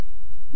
धन्यवाद